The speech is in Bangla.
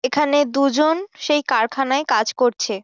এখানে দুজন সেই কারখানায় কাজ করছে।